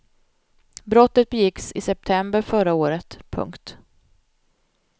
Brottet begicks i september förra året. punkt